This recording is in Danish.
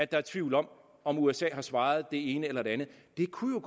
der er tvivl om om usa har svaret det ene eller det andet det kunne